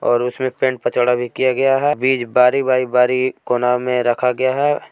और उसमें पेनपचढ़ा भी किया गया है बीज बारी बारी बारी एक कोना में रखा गया है।